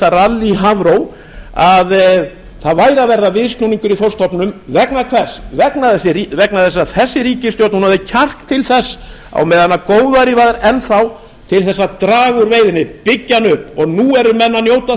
ralli í hafró að það væri að verða viðsnúningur í þorskstofninum vegna hvers vegna þess að þessi ríkisstjórn hafði kjark til þess á meðan góðæri var enn þá til þess að draga úr veiðinni og byggja hana upp og nú eru menn að njóta